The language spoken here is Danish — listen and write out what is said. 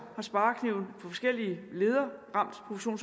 har sparekniven på forskellige leder